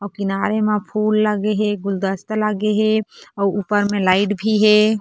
अउ किनारे में फुल लगे हे गुलदस्ते लगे हे अउ ऊपर म लाइट लगे हे।